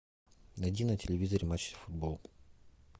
найди на телевизоре матч футбол